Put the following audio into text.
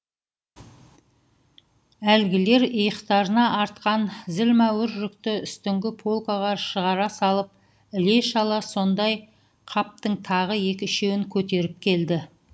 әлгілер иықтарына артқан зілмауыр жүкті үстіңгі полкаға шығара салып іле шала сондай қаптың тағы екі үшеуін көтеріп келді